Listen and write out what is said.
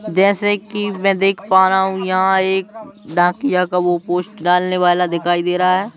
जैसे कि मैं देख पा रहा हूं यहां एक नाकिया का वह पोस्ट डालने वाला दिखाई दे रहा है।